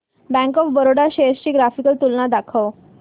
bank of Baroda shares ची graphical तुलना दाखव